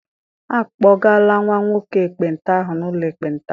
A kpọgala nwa nwoke ekpenta ahụ n'ụlọ ekpenta.